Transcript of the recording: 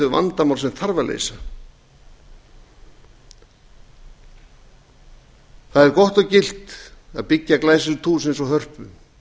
vandamál sem þarf að leysa það er gott og gilt að byggja glæsilegt hús eins og hörpu